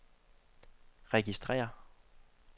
registrér